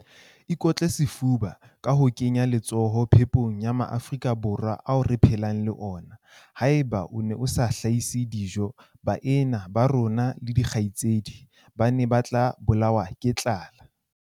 Ikotle sefuba ka ho kenya letsoho phepong ya Maafrika Borwa ao re phelang le ona. Haeba o ne o sa hlahise dijo, baena ba rona le dikgaitsedi ba ne ba tla bolawa ke tlala.